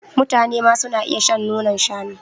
mutanema suna iya shan nonon shanu